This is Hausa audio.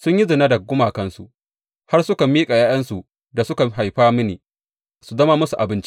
Sun yi zina da gumakansu; har suka miƙa ’ya’yansu da suka haifa mini, su zama musu abinci.